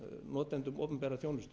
notendum opinberrar þjónustu